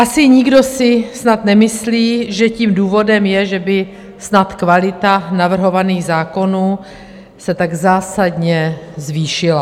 Asi nikdo si snad nemyslí, že tím důvodem je, že by snad kvalita navrhovaných zákonů se tak zásadně zvýšila.